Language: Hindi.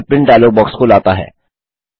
यह प्रिंट डायलॉग बॉक्स को लाता है